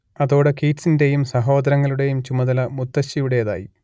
അതോടെ കീറ്റ്സിന്റേയും സഹോദരങ്ങളുടേയും ചുമതല മുത്തശ്ശിയുടേതായി